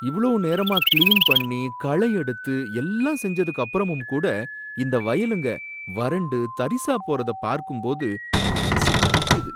இவ்ளோ நேரமா கிளீன் பண்ணி களையெடுத்து எல்லாம் செஞ்சதுக்கு அப்பறமும் கூட இந்த வயலுங்க வறண்டு தரிசா போறதப் பார்க்கும்போது மனசு வலிக்குது.